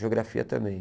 Geografia também.